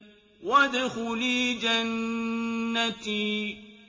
وَادْخُلِي جَنَّتِي